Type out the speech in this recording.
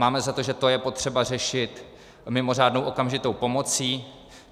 Máme za to, že to je potřeba řešit mimořádnou okamžitou pomocí.